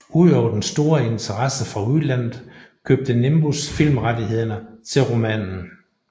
Ud over den store interesse fra udlandet købte Nimbus filmrettighederne til romanen